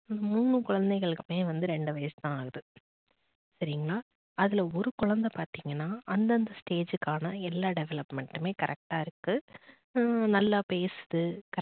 மூணு குழந்தைகளுக்குமே வந்து ரெண்டு வயசு தான் ஆகுது சரிங்களா. அதுல ஒரு குழந்தை பாத்தீங்கன்னா அந்தந்த stage காண எல்லா development டுமே correct டா இருக்கு நல்லா பேசுது